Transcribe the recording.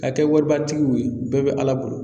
Ka kɛ waribatigiw ye bɛɛ bɛ ala bolo.